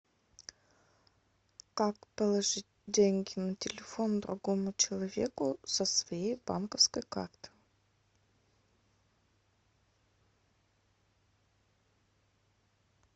как положить деньги на телефон другому человеку со своей банковской карты